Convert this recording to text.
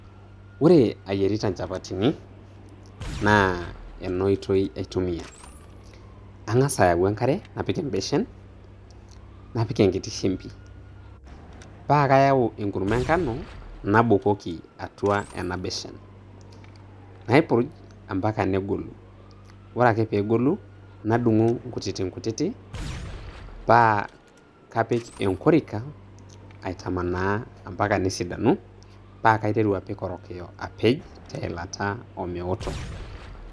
Ore ayierita inchapatini, naa enoitoi aitumia. Ang'asa ayau enkare apik ebeshen, napik enkiti shimbi. Pa kayau enkurma enkano nabukoki atua ena beshen. Naipurj mpaka negolu. Ore ake pegolu, nadung'u kutitikutiti, pa kapik enkorika aitamanaa mpaka nesidanu, pa kaiteru apik orokiyo apej teilata omeoto.